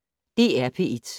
DR P1